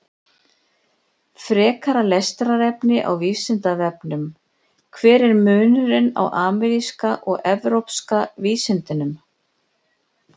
Frekara lesefni á Vísindavefnum: Hver er munurinn á ameríska og evrópska vísundinum?